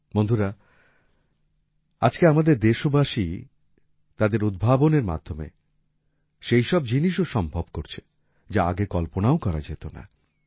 বন্ধুরা আজকে আমাদের দেশবাসী তাদের উদ্ভাবনের মাধ্যমে সেই সব জিনিসও সম্ভব করছে যা আগে কল্পনাও করা যেত না